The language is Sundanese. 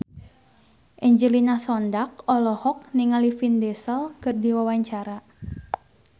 Angelina Sondakh olohok ningali Vin Diesel keur diwawancara